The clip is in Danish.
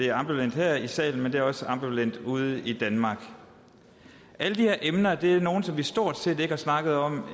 er ambivalent her i salen men den er også ambivalent ude i danmark alle de her emner er nogle som vi stort set ikke har snakket om